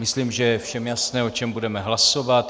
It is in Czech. Myslím, že je všem jasné, o čem budeme hlasovat.